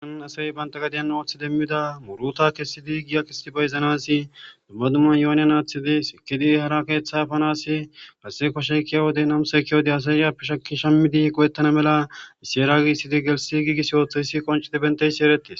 oan asay banta gadiyan ooththi demmida muruta kessidi giya qisidi bayzanasi dummadumman yooniyan aaththidi sekidi hara keeththa fanasi hasse kosheykiya wodey namuseykkia wode asayappe shaki shammidi go7ettana mela iseeria gissidi gelsi giigis yooththaysi qoncidi benteysi ereties